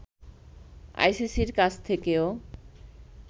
আইসিসির কাছ থেকেও